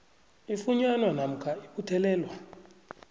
ifunyanwa namkha ibuthelelwa